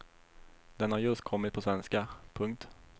Den har just kommit på svenska. punkt